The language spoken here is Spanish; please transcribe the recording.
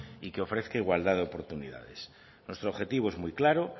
y que ofrezca igualdad de oportunidades nuestro objetivo es muy claro